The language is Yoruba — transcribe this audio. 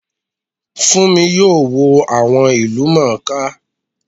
Fúnmi yóò wo àwọn ìlúmọọká